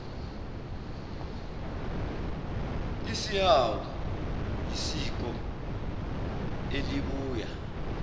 isihawu yisiko elibuya